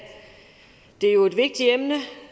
det er jo et vigtigt emne